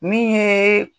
Min ye